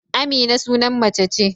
Amina sunan mace ce.